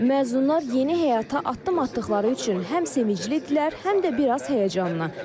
Məzunlar yeni həyata addım atdıqları üçün həm sevinclidirlər, həm də bir az həyəcanlı.